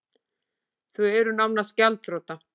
Þau eru nánast gjaldþrota